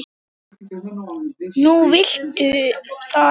Nú viltu það ekki?